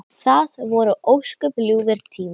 Það voru ósköp ljúfir tímar.